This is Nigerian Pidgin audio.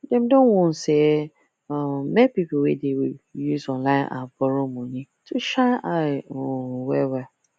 dem don warn sey um make people wey dey use online app borrow money to shine eye um wellwell